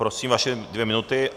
Prosím, vaše dvě minuty.